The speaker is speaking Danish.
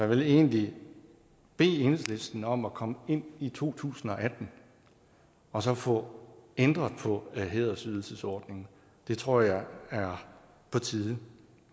vil egentlig bede enhedslisten om at komme ind i to tusind og atten og så få ændret på hædersydelsesordningen det tror jeg er på tide